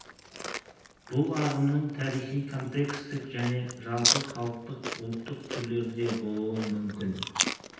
бұл ағымның тарихи контекстік және жалпы халықтық ұлттық түрлері де болуы мүмкін